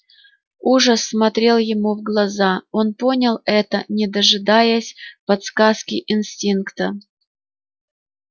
ужас смотрел ему в глаза он понял это не дожидаясь подсказки инстинкта